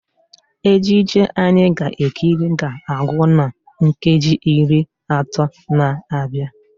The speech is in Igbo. Ejije anyị ga-ekiri ga-agwụ na nkeji iri atọ na-abịa